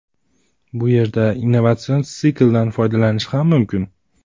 Bu yerda innovatsion sikldan foydalanishi ham mumkin.